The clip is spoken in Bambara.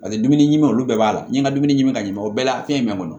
Paseke dumuni ɲuman olu bɛɛ b'a la n ye nka dumuni ɲimi ka ɲi o bɛɛ la fɛn jumɛn kɔnɔ